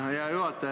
Hea juhataja!